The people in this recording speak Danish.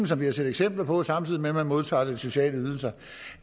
som vi har set eksempler på samtidig med at man modtager sociale ydelser